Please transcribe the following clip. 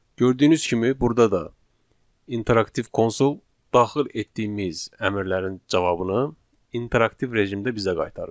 Gördüyünüz kimi burda da interaktiv konsol daxil etdiyimiz əmrlərin cavabını interaktiv rejimdə bizə qaytarır.